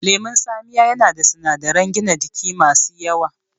Lemon tsamiya yana da sunadaran gina jiki masu yawa